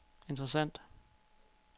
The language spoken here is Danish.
interessant